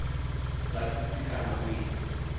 sa thusi kana u ita